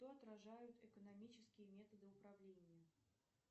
что отражают экономические методы управления